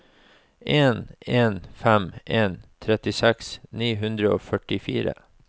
en en fem en trettiseks ni hundre og førtifire